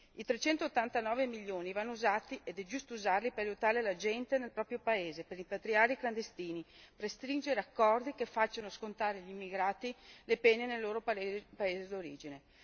I 389 milioni vanno usati, ed è giusto usarli, per aiutare la gente nel proprio paese, per rimpatriare i clandestini, per stringere accordi che facciano scontare agli immigrati le pene nel loro paese di origine.